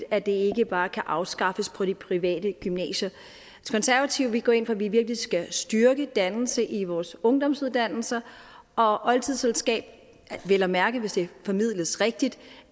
at det ikke bare kan afskaffes på de private gymnasier konservative går ind for at vi virkelig skal styrke dannelse i vores ungdomsuddannelser og oldtidskundskab vel at mærke hvis det formidles rigtigt